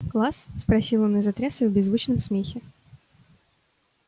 класс спросил он и затрясся в беззвучном смехе